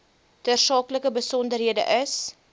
tersaaklike besonderhede is